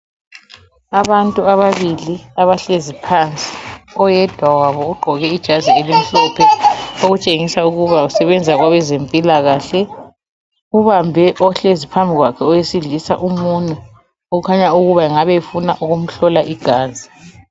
Abantu ababili abahlezi phansi oyedwa wabo ugqoke ijazi elimhlophe okutshengisa ukuba usebenza kwabezempilakahle ubambe ohlezi phambi kwakhe owesilisa umunwe ukhanya ukuba engabe efuna ukumhlola igazi.